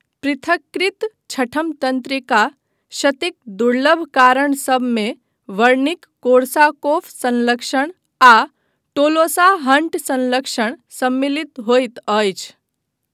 पृथक्कृत छठम तन्त्रिका क्षतिक दुर्लभ कारण सभमे वर्निक कोर्साकॉफ संलक्षण आ टोलोसा हन्ट संलक्षण सम्मिलित होइत अछि।